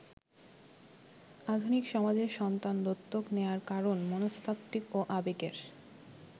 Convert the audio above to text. আধুনিক সমাজে সন্তান দত্তক নেয়ার কারণ মনস্তাত্ত্বিক ও আবেগের।